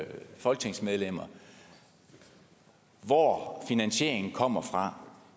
folketingsmedlemmer om hvor finansieringen kommer fra